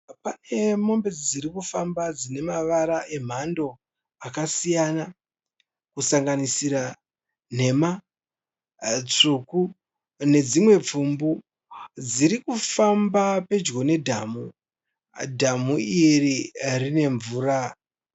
Pane mombe dziri kufamba dzine mavara , emhando akasiyana kusanganisira nhema, tsvuku nedzimwe pfumbu. Dziri kufamba pedyo nedhamu, dhamu iri rine mvura .